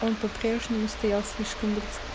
он по-прежнему стоял слишком близко